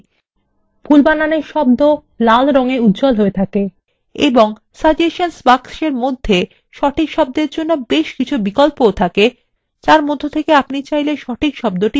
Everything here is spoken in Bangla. ভুল বানানের শব্দকে লাল দিয়ে উজ্জ্বল হয়ে থাকে এবং suggestions বাক্সের মধ্যে সঠিক শব্দের জন্য বেশ কিছু বিকল্প থাকে যার মধ্য থেকে আপনি সঠিক শব্দটি বেছে নিতে পারেন